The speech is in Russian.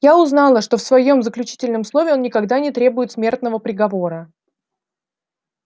я узнала что в своём заключительном слове он никогда не требует смертного приговора